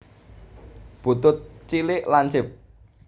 Butut cilik lancip